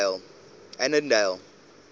annandale